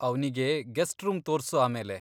ಅವ್ನಿಗೆ guest room ತೋರ್ಸು ಆಮೇಲೆ.